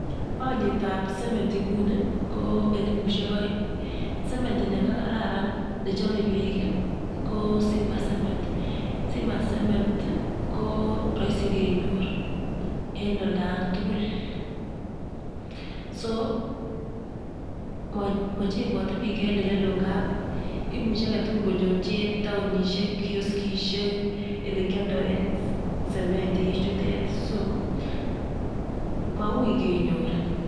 Olietab cemeti nguni ko elibushek oeng, cementi nekararan nechome bik kii ko simba cement. Simba cement ko roisi kenyor en olan tukul mochengote bik en oleloo imuche aketu konyor en townishek kioskishek elekioldoen cemeti. Ichute so maui kenyor.